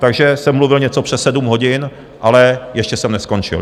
Takže jsem mluvil něco přes sedm hodin, ale ještě jsem neskončil.